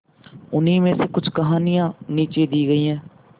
उन्हीं में से कुछ कहानियां नीचे दी गई है